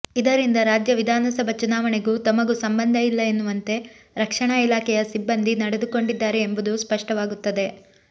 ಇದರಿಂದ ರಾಜ್ಯ ವಿಧಾನಸಭಾ ಚುನಾವಣೆಗೂ ತಮಗೂ ಸಂಬಂಧ ಇಲ್ಲ ಎನ್ನುವಂತೆ ರಕ್ಷಣಾ ಇಲಾಖೆಯ ಸಿಬ್ಬಂದಿ ನಡೆದುಕೊಂಡಿದ್ದಾರೆ ಎಂಬುದು ಸ್ಪಷ್ಟವಾಗುತ್ತದೆ